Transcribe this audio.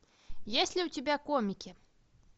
есть ли у тебя комики